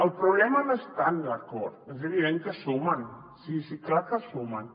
el problema no és tant l’acord és evident que sumen sí sí clar que sumen